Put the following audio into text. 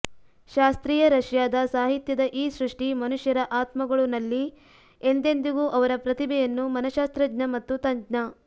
ಶಾಸ್ತ್ರೀಯ ರಷ್ಯಾದ ಸಾಹಿತ್ಯದ ಈ ಸೃಷ್ಟಿ ಮನುಷ್ಯರ ಆತ್ಮಗಳು ನಲ್ಲಿ ಎಂದೆಂದಿಗೂ ಅವರ ಪ್ರತಿಭೆಯನ್ನು ಮನಶ್ಶಾಸ್ತ್ರಜ್ಞ ಮತ್ತು ತಜ್ಞ